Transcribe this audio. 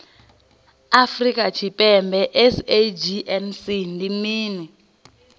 afrika tshipembe sagnc ndi mini